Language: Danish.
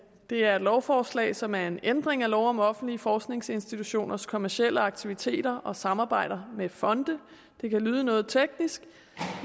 er et lovforslag som er en ændring af lov om offentlige forskningsinstitutioners kommercielle aktiviteter og samarbejder med fonde det kan lyde noget teknisk